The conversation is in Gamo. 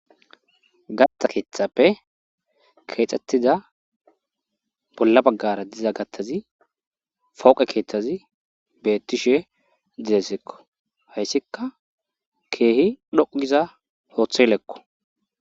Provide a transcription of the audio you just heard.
gatta keettappe keexxettiza bolla baggara diza gattazi fooqe keeththazi beettishe didessekko hayssikka keehi dhoqugiza hooththeylekko